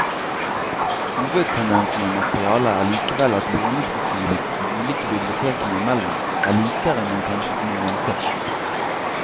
Hovedtendensen i materialet er likevel at låneprofilen de ulike bibliotekene imellom er likere enn en kanskje kunne vente.